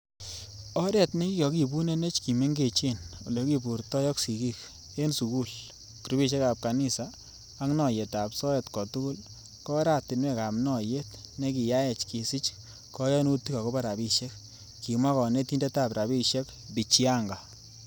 Oret nekikoibunenech kimengechen, ele kiburtoi ak sigik, en sugul, grupisiekab kanisa ak noyetab soet kotugul ko oratinwek ab noyet nekiyaech kesich koyonutik agobo rabishek,"kimwa konetindetab rabishek Bichianga.